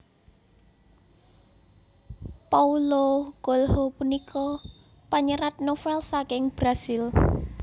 Paulo Coelho punika panyerat novèl saking Brazil